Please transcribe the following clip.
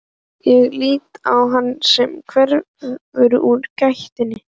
Ég lít á hann sem hverfur úr gættinni.